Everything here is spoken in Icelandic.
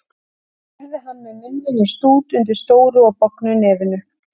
spurði hann með munninn í stút undir stóru og bognu nefinu.